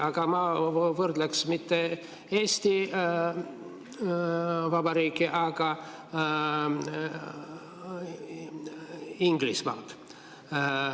Aga ma võrdleks mitte Eesti Vabariiki, vaid Inglismaad.